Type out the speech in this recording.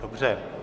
Dobře.